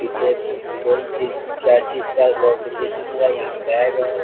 पीछे कोन चीज क्या चीज का कॉम्पिटिशन हो रहा यहां बेग है।